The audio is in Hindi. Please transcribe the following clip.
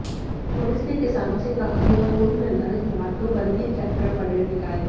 पुलिस ने किसानों से कहा कि वह पूर्व निर्धारित मार्ग पर ही ट्रैक्टर परेड़ निकाले